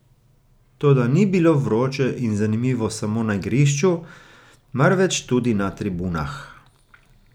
Toda ni bilo vroče in zanimivo samo na igrišču, marveč tudi na tribunah.